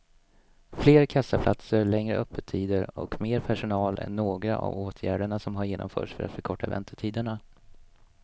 Fler kassaplatser, längre öppettider och mer personal är några av åtgärderna som har genomförts för att förkorta väntetiderna.